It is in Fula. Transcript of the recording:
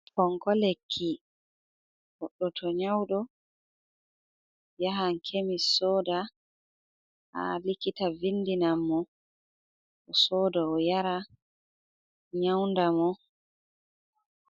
Fonko lekki, goɗɗo to nyaudo yaha kemis soda ha likita vindinan mo sodo oyara nyaunda mo.